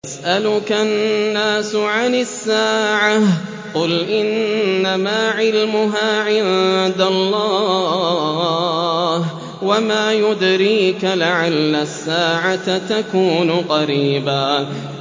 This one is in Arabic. يَسْأَلُكَ النَّاسُ عَنِ السَّاعَةِ ۖ قُلْ إِنَّمَا عِلْمُهَا عِندَ اللَّهِ ۚ وَمَا يُدْرِيكَ لَعَلَّ السَّاعَةَ تَكُونُ قَرِيبًا